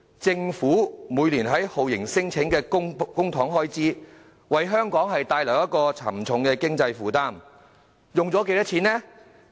政府每年花在酷刑聲請的公帑開支，為香港帶來沉重的經濟負擔，花了多少錢呢？